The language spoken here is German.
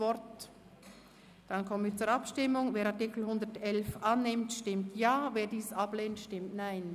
Wer den Artikel 111 annimmt, stimmt Ja, wer diesen ablehnt, stimmt Nein.